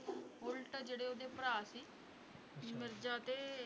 ਉੱਲਟ ਜਿਹੜੇ ਉਹਦੇ ਭਰਾ ਸੀ ਮਿਰਜ਼ਾ ਤੇ